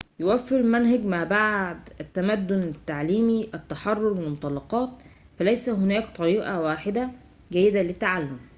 يوفر منهج ما بعد التمدن التعليمي التحرر من المطلقات فليس هناك طريقة واحدة جيدة للتعلم